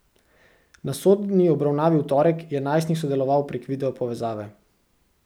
Na sodni obravnavi v torek je najstnik sodeloval prek video povezave.